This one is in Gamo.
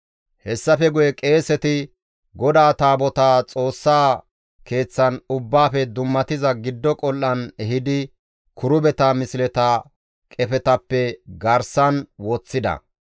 Hessafe guye qeeseti GODAA Taabotaa Xoossaa keeththan Ubbaafe Dummatiza Giddo Qol7an ehidi kirubeta misleta qefetappe garsan woththida.